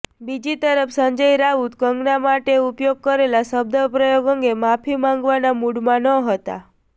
બીજી તરફ સંજય રાઉત કંગના માટે ઉપયોગ કરેલા શબ્દપ્રયોગ અંગે માફી માગવાના મૂડમાં ન હતા